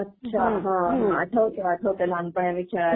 अच्छा, आठवंत आठवतं लहानपणी आम्ही खेळायचो.